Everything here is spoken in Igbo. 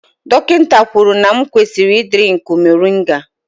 Dọkịta kwuru na m kwesịrị ị drinkụ moringa